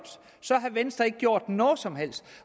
så havde venstre ikke gjort noget som helst